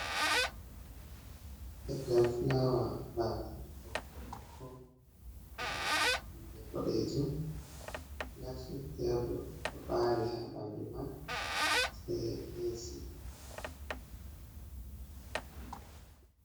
Leggal flawa, baafe ɓokko-ɓokko, pindi boɗeejum glasyel fere bo ɗo ɓari ha ɓandu man, sai AC.